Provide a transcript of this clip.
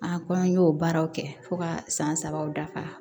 A ko an y'o baaraw kɛ fo ka san sabaw dafa